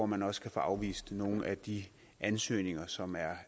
man også kan få afvist nogle af de ansøgninger som er